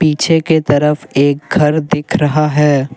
पीछे के तरफ एक घर दिख रहा है।